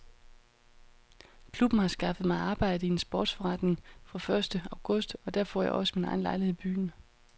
Klubben har skaffet mig arbejde i en sportsforretning fra første august og der får jeg også min egen lejlighed i byen.